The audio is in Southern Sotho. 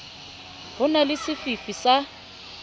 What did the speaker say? ho na le sefifi sa